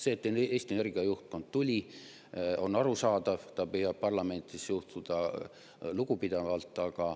See, et Eesti Energia juhtkond tuli, on arusaadav, ta püüab parlamenti suhtuda lugupidavalt.